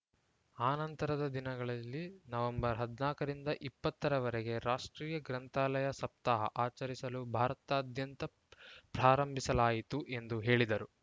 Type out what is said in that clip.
ಅನಂತರದ ದಿನಗಳಲ್ಲಿ ನವೆಂಬರ್ ಹದಿನಾಲ್ಕ ರಿಂದ ಇಪ್ಪತ್ತ ರವರೆಗೆ ರಾಷ್ಟ್ರೀಯ ಗ್ರಂಥಾಲಯ ಸಪ್ತಾಹ ಆಚರಿಸಲು ಭಾರತದಾದ್ಯಂತ ಪ್ರಾರಂಭಿಸಲಾಯಿತು ಎಂದು ಹೇಳಿದರು